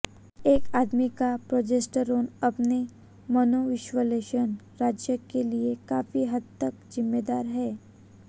एक आदमी का प्रोजेस्टेरोन अपने मनोविश्लेषण राज्य के लिए काफी हद तक जिम्मेदार है